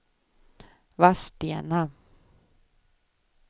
Vadstena